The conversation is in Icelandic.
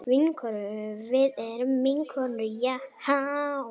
Vinkonur, við erum vinkonur Jahá.